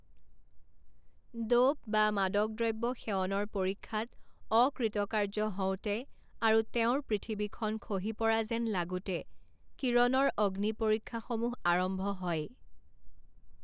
Dope বা মাদক দ্ৰব্য সেৱনৰ পৰীক্ষাত অকৃতকাৰ্য হওঁতে আৰু তেওঁৰ পৃথিৱীখন খহি পৰা যেন লাগোতে কিৰণৰ অগ্নি পৰীক্ষাসমূহ আৰম্ভ হয়।